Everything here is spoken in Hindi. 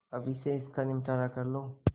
अभी से इसका निपटारा कर लो